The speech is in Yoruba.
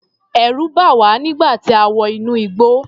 Ẹ̀rù bà wá nígbà tí a wọ inú igbó.